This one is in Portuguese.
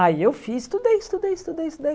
Aí eu fiz, estudei, estudei, estudei, estudei.